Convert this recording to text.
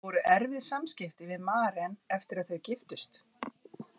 Voru erfið samskipti við Maren eftir að þau giftust?